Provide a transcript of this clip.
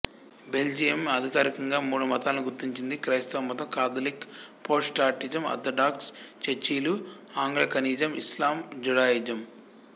Belgium అధికారికంగా మూడు మతాలను గుర్తించింది క్రైస్తవ మతం కాథలిక్ ప్రొటెస్టాంటిజం ఆర్థడాక్స్ చర్చిలు ఆంగ్లికనిజం ఇస్లాం జుడాయిజం